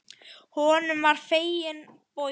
Honum var fenginn bogi.